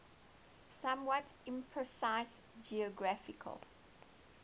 somewhat imprecise geographical